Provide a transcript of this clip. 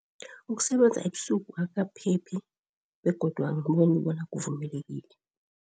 Ukusebenza ebusuku akukaphephi begodu angiboni bona kuvumelekile.